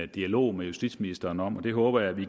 dialog med justitsministeren om og den håber jeg vi